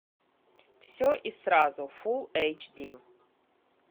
все и сразу фулл эйч ди